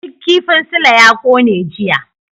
Duk kifin Sule ya kone jiya.